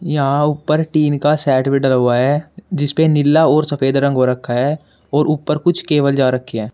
यहां ऊपर टीन का सेट भी डाला हुआ है जिस पे नीला और सफेद रंग हो रखा है और ऊपर कुछ केवल जा रखी है।